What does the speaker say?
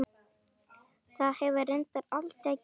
Það hefur reyndar aldrei gerst.